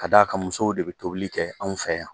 K'a d'a kan musow de bɛ tobili kɛ anw fɛ yan.